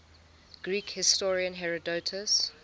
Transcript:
greek historian herodotus